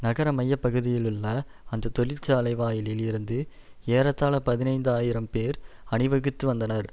நகரமையப்பகுதியிலுள்ள அந்த தொழிற்சாலை வாயிலில் இருந்து ஏறத்தாழ பதினைந்து ஆயிரம் பேர் அணிவகுத்து வந்தனர்